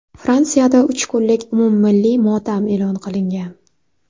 Fransiyada uch kunlik umummilliy motam e’lon qilingan.